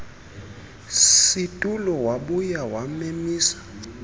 situlo wabuya wamemisa